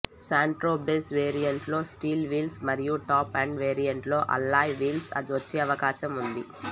Santro base వేరియంట్లో steel wheels మరియు top end వేరియంట్లో అల్లాయ్ వీల్స్ వచ్చే అవకాశం ఉంది